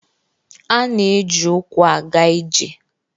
A na-eji ụkwụ aga ije